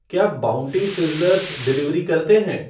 क्या Bounty Sizzlers delivery करतें हैं